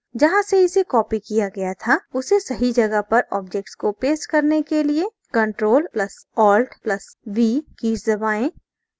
जहाँ से इसे copied किया गया था उसे सही जगह पर object को paste करने के लिए ctrl + alt + v कीज दबाएँ